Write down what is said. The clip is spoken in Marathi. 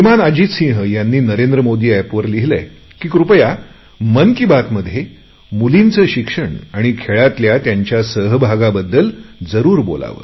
अजित सिंह यांनी नरेंद्र मोदी एपवर असे लिहिलेय की कृपया मन की बातमध्ये मुलींचे शिक्षण आणि खेळातल्या त्यांच्या सहभागाबद्दल जरुर बोलावे